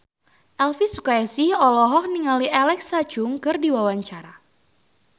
Elvi Sukaesih olohok ningali Alexa Chung keur diwawancara